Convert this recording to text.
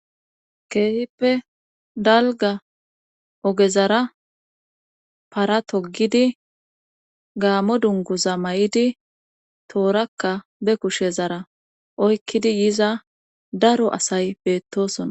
Keehippe dalgga ogezara para toggidi gaamo dunguza mayidi toorakka be kushezara oykkidi yiza daro asay beettoosona.